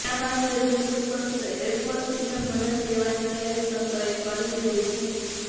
આ મામલે જરૂર પડશે તો એરફોર્સની પણ મદદ લેવાની તૈયારી તંત્રએ કરી લીધી છે